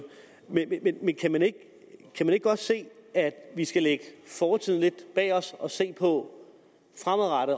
men kan man ikke godt se at vi skal lægge fortiden lidt bag os og se på